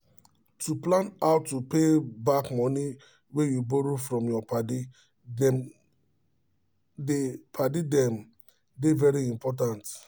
to plan how to pay back money wey you borrow from your padi dem dey padi dem dey very important